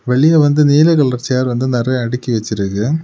வெளிய வந்து நீல கலர் சேர் வந்து நெறைய அடுக்கி வச்சிருக்கு.